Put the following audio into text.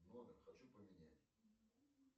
номер хочу поменять